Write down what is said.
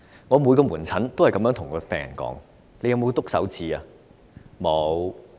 我在門診都問每一名病人："你有刺手指嗎？